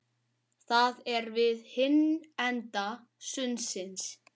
Það er við hinn enda sundsins.